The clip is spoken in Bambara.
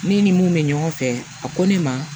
Ne ni mun bɛ ɲɔgɔn fɛ a ko ne ma